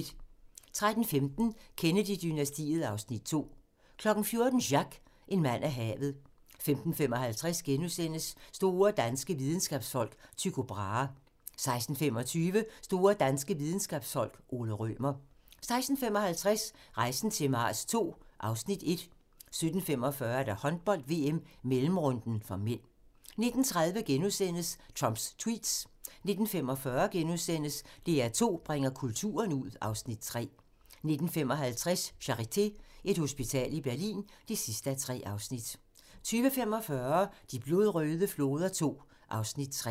13:15: Kennedy-dynastiet (Afs. 2) 14:00: Jacques - en mand af havet 15:55: Store danske videnskabsfolk: Tycho Brahe * 16:25: Store danske videnskabsfolk: Ole Rømer 16:55: Rejsen til Mars II (Afs. 1) 17:45: Håndbold: VM - mellemrunden (m) 19:30: Trumps tweets * 19:45: DR2 bringer kulturen ud (Afs. 3)* 19:55: Charité - Et hospital i Berlin (3:3) 20:45: De blodrøde floder II (Afs. 3)